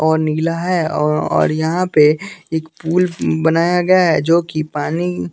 और नीला है और यहाँ पे एक पूल बनाया गया है जो कि पानी --